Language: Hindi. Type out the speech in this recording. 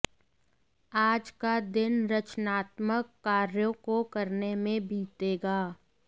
आज का दिन रचनात्मक कार्यों को करने में बितेगा